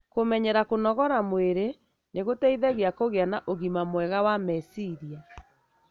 Kũmenyera kũnogora mwĩri nĩ gũteithagia kũgia na ũgima mwega wa meciria.